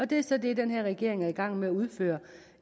det er så det den her regering er i gang med at udføre